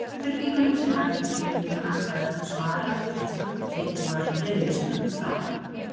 Spurningunum sem vöknuðu í huga hans var öllum svarað þegar tjaldið var dregið snöggt frá.